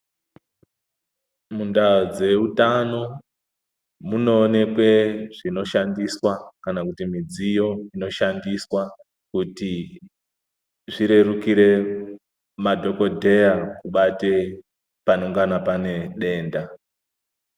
Mundaa dzeutano munoonekwe zvinoshandiswa kana kuti midziyo inoshandiswa kuti zvirerukire madhokodheya kubate panongana pane denda.